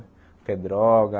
O que é droga.